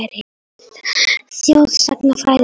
Það skiptir minna máli frá sjónarmiði þjóðsagnafræðinnar.